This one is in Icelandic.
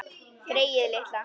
Greyið litla!